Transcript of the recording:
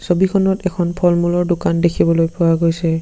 ছবিখনত এখন ফলমূলৰ দোকান দেখিবলৈ পোৱা গৈছে।